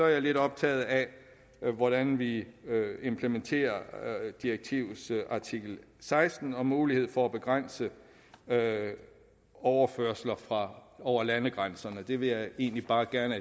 jeg lidt optaget af hvordan vi implementerer direktivets artikel seksten om mulighed for at begrænse overførsler over landegrænser det vil jeg egentlig bare gerne